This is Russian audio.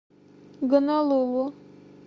гонолулу